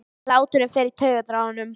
Hláturinn fer í taugarnar á honum.